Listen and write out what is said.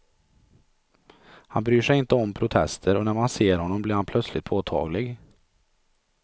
Han bryr sig inte om protester och när man ser honom blir han plötsligt påtaglig.